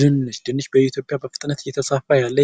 ድንች ድንች በኢትዮጵያ በፍጥነት እየተስፋፋ ያለ